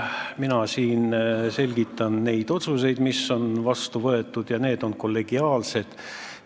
Mina selgitan neid otsuseid, mis on vastu võetud ja mis on kollegiaalsed.